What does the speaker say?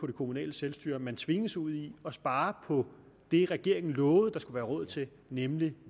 det kommunale selvstyre at man tvinges ud i at spare på det regeringen lovede der skulle være råd til nemlig